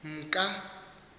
mka